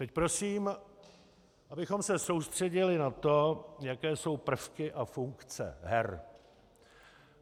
Teď prosím, abychom se soustředili na to, jaké jsou prvky a funkce her.